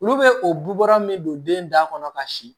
Olu bɛ o bula min don den da kɔnɔ ka si